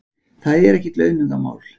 Það er ekkert launungarmál.